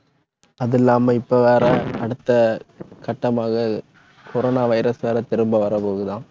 அது இல்லாம, இப்ப வேற அடுத்த கட்டமாக coronavirus வேற திரும்ப வர போகுதாம்.